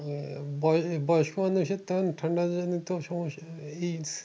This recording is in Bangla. উম বয়স বয়স্ক মানুষের ঠান্ডা জনিত সমস্যা ই